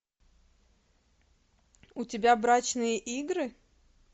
у тебя брачные игры